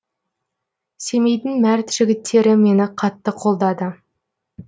семейдің мәрт жігіттері мені қатты қолдады